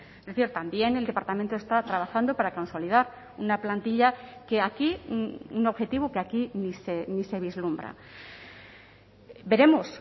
es decir también el departamento está trabajando para consolidar una plantilla que aquí un objetivo que aquí ni se vislumbra veremos